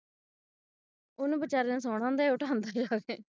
ਉਹਨੂੰ ਬਿਚਾਰੇ ਨੂੰ ਸੋਹਣਾ ਹੁੰਦਾ ਹੈ ਇਹ ਉਠਾਉਂਦਾ ਹੈ ਜਾ ਕੇ